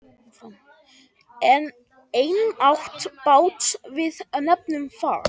Einatt bát við nefnum far.